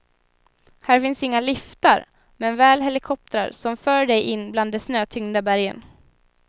Här finns inga liftar, men väl helikoptrar som för dig in bland de snötyngda bergen.